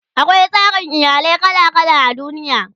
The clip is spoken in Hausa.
akwai tsarin iyalai kala kala a duniya